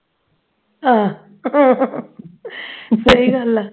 ਆਹ ਸਹੀ ਗੱਲ ਆ